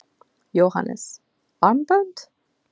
Jóhannes: Armbönd?